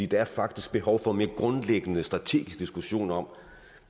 der er faktisk behov for en mere grundlæggende strategisk diskussion om